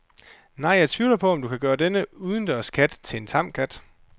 Nej, jeg tvivler på, om du kan gøre denne udendørskat til en tam kat.